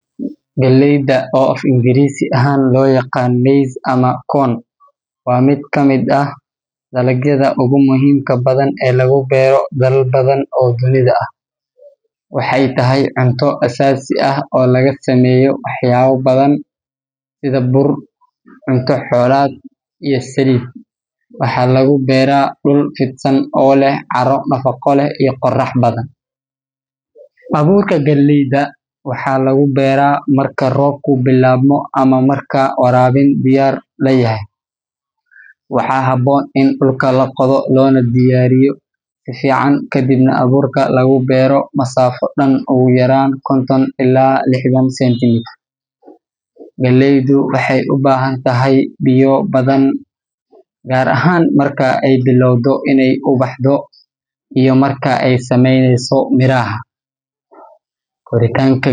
Baamiyaha, oo af-Ingiriisi ahaan loo yaqaan okra, waa khudaar aad caan u ah oo laga beero dalal badan, gaar ahaan meelaha kuleylaha ah. Waa dhir si sahlan u baxda, waana mid si weyn loogu isticmaalo karinta, gaar ahaan suugada iyo maraqyada. Waxaa lagu gartaa mirihiisa dhuuban ee cagaaran oo leh xuub dhegdheg leh marka la kariyo. Baamiya waxaa lagu beeraa xilli roobaadka ama meelaha leh waraabin joogto ah. Abuurka baamiyaha waxaa la beeraa marka dhulku diirran yahay, taas oo ah heerkul gaaraya ugu yaraan labaatan darajo Celsius. Inta badan, beertu waxay u baahan tahay in la jeexo dhulka loona diyaariyo si fiican, waxaana abuurka la dhigaa masaafo dhan ugu yaraan lixdan ilaa sideetan sentimitir. Geedka baamiyaha wuxuu bilaabaa inuu miro dhasho kadib muddo laga joogo lix ilaa sideed toddobaad marka la beero. Waxaa muhiim ah in si joogto ah loo goosto miraha marka ay yaryihiin, maxaa yeelay marka ay weynadaan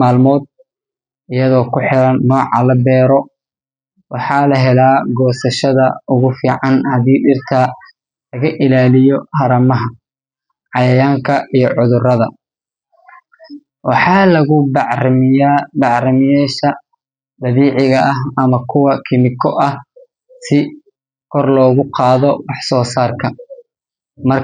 way adkaadaan waxayna lumiyaan dhadhanka fiican. Sidoo kale.